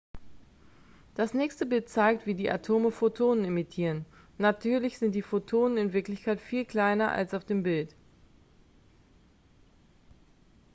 das nächste bild zeigt wie die atome photonen emittieren natürlich sind die photonen in wirklichkeit viel kleiner als auf dem bild